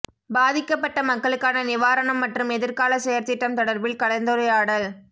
பாதிக்கப்பட்ட மக்களுக்கான நிவாரணம் மற்றும் எதிர்கால செயற்திட்டம் தொடர்பில் கலந்துரையாடல்